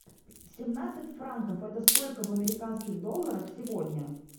семнадцать франков это сколько в американских долларах сегодня